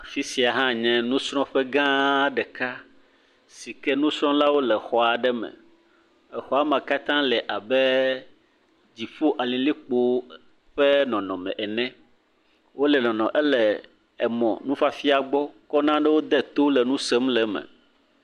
Fi sia hã nye nusrɔ̃ƒe gã ɖeka si ke nusrɔ̃lawo le xɔa aɖe me. Exɔa me katã le ab dziƒo alilikpo ƒe nɔnɔme ene. Wo le nɔnɔ ele emɔ nufiafia gbɔ kɔ nanewo de to le nu sem le eme.